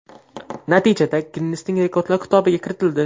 Natija Ginnesning rekordlar kitobiga kiritildi.